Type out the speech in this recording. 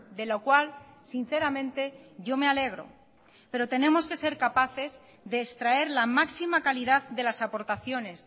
de lo cual sinceramente yo me alegro pero tenemos que ser capaces de extraer la máxima calidad de las aportaciones